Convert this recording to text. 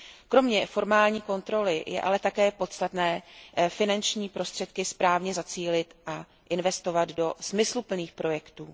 Kromě formální kontroly je ale také podstatné finanční prostředky správně zacílit a investovat do smysluplných projektů.